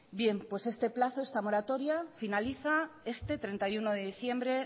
bien pues este plazo esta moratoria finaliza este treinta y uno de diciembre